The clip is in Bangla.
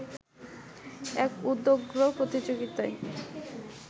এক উদগ্র প্রতিযোগিতায়